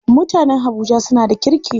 Mutanen habuja suna da kirki.